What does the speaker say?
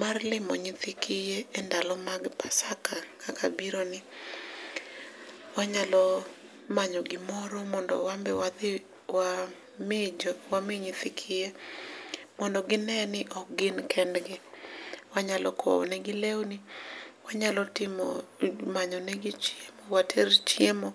mar limo nyithi kiye e ndalo mag pasaka kaka biro ni. Wanyalo manyo gimoro mondo wan be wadhi wami nyithi kiye mondo gineni ok gin kendgi. Wanyalo kowo negi lewni, wanyalo manyo negi chiemo water chiemo,